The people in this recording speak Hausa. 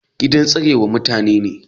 Gida tsarewa ma mutani ne.